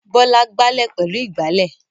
Bọ́lá gbálẹ̀ pẹ̀lú ìgbálẹ̀.